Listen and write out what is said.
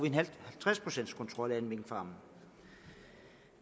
en halvtreds procents kontrol af alle minkfarme